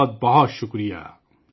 بہت بہت شکریہ !